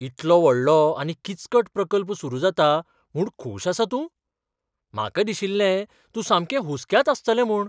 इतलो व्हडलो आनी किचकट प्रकल्प सुरू जाता म्हूण खूश आसा तूं? म्हाका दिशिल्लें तूं सामकें हुसक्यांत आसतलें म्हूण.